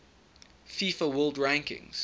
fifa world rankings